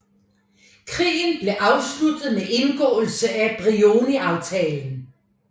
Krigen blev afsluttet med indgåelsen af Brioniaftalen